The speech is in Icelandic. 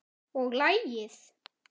Og lagið?